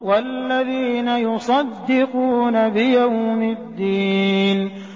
وَالَّذِينَ يُصَدِّقُونَ بِيَوْمِ الدِّينِ